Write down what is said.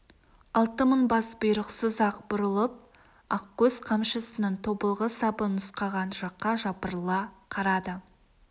алты мың бас бұйрықсыз-ақ бұрылып ақкөз қамшысының тобылғы сабы нұсқаған жаққа жапырыла қарады